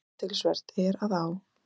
Athyglisvert er að á